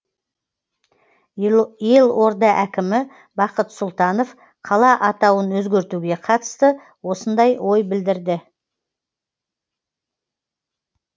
елорда әкімі бақыт сұлтанов қала атауын өзгертуге қатысты осындай ой білдірді